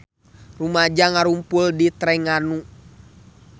Rumaja ngarumpul di Trengganu